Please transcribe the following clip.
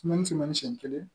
Sumani suman ni siɲɛ kelen